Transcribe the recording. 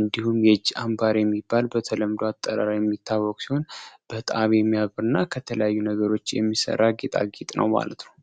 እንዲሁም የአምባረ የሚባል በተለምዶ አጠራር የሚታወቀ እና ከተለያዩ ነገሮች የሚሰራ ነው ማለት ነው።